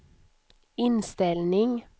inställning